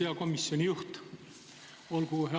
Hea komisjoni juht!